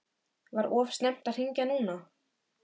Var of snemmt að hringja núna?